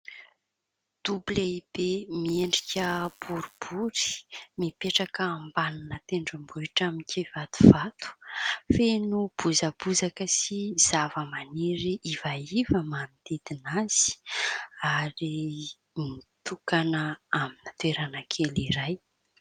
Dobo lehibe miendrika boribory mipetraka ambanina tendrombohitra amin-kivatovato. Feno bozabozaka sy zava-maniry ivaiva manodidina azy ary nitokana amin'ny toerana kely iray.